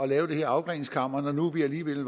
lave det her afgreningskammer når nu vi alligevel